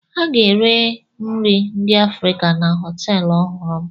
A ga-ere nri ndị Afrịka na họtelụ ọhụrụ m.